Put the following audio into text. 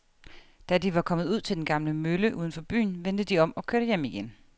Da de var kommet ud til den gamle mølle uden for byen, vendte de om og kørte hjem igen.